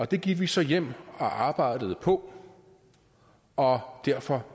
det gik vi så hjem og arbejdede på og derfor